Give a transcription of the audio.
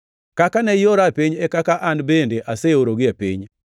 Kaka ne iora e piny e kaka an bende aseorogi e piny.